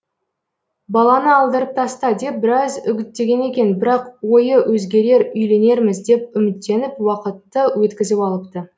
баланы алдырып таста деп біраз үгіттеген екен бірақ ойы өзгерер үйленерміз деп үміттеніп уақытты өткізіп алыпты